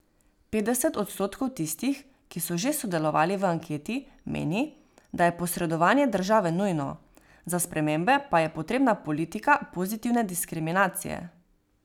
Petdeset odstotkov tistih, ki so že sodelovali v anketi, meni, da je posredovanje države nujno, za spremembe pa je potrebna politika pozitivne diskriminacije.